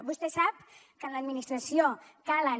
vostè sap que en l’administració calen